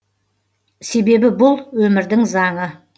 себебі бұл өмірдің заңы